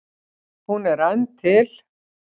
Hún er enn til.